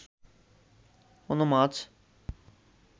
কোনো মাছ